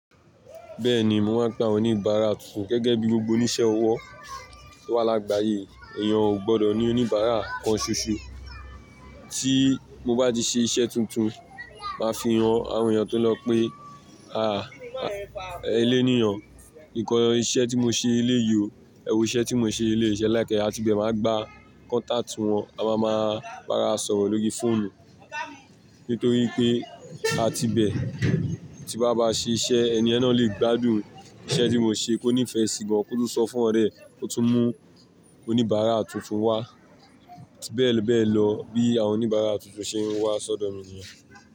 Bẹ́ẹ̀ni mò ń pe awọ́n oníbàárà tuntun gẹ́gẹ́ bí gbogbo oni iṣẹ́ ọwọ́ tó wà lágbàáyé, èèyàn ò gbọdọ̀ ní oníbàárà kan ṣoṣo. Tí mo bá ti ṣe iṣẹ́ tuntun, màá fi hàn àwọn èèyàn tó lọ̀ pé à, eléníyàn, nǹkan iṣẹ́ tí mo ṣe léyiọ, ẹwò iṣẹ́ tí mo ṣe lé ṣẹ́ ẹ̀ láìkẹ́, àti bẹ́ẹ̀ màá gba contact wọn, a wáa máa bá ara sọ̀rọ̀ lórí fóònù. Nítorí pé àti bẹ́ẹ̀, tí báa bá ṣe iṣẹ́, ẹni ẹ̀na lè gbádùn iṣẹ́ tí mo ṣe kó nífẹ̀ẹ́ sí i gan, kó tún sọ fún ọ̀rẹ́, ó tún mú oníbàárà tuntun wá. Ti bẹ́ẹ̀ bẹ́ẹ̀ lọ bí àwọn oníbàárà tuntun ṣe ń wá sọ́dọ̀ mi nìyẹn.